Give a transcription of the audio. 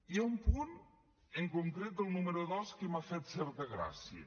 hi ha un punt en concret el número dos que m’ha fet certa gràcia